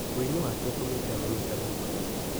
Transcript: Wini wake ũtũmĩte amenyekane mũno.